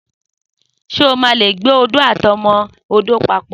Só mà lé gbé òdó àtíọmọ òdó pàpọ́?